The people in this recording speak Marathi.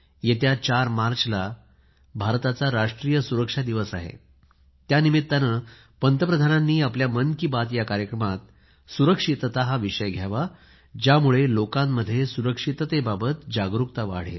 येत्या ४ मार्चला भारताचा राष्ट्रीय सुरक्षा दिवस आहे त्या निमित्ताने पंतप्रधानांनी आपल्या मन की बात या कार्यक्रमात सुरक्षितता हा विषय घ्यावा ज्यामुळे लोकांमध्ये सुरक्षिततेबाबत जागरूकता वाढेल